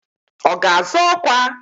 Ọ ga-azọ ọkwa?